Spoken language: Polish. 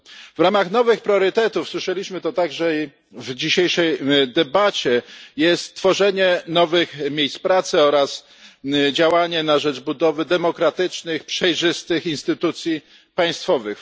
W ramach nowych priorytetów słyszeliśmy to także w dzisiejszej debacie jest tworzenie nowych miejsc pracy oraz działania na rzecz budowy demokratycznych i przejrzystych instytucji państwowych.